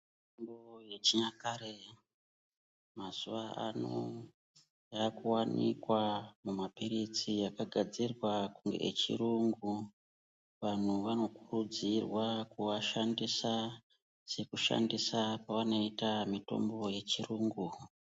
Mitombo yechinyakare mazuva ano yakuvanikwa mumaphiritsi akagadzirwa echirungu. Vantu vanokurudzirwa kuashandisa sekushandisa kwavanoita mitombo yechirungu.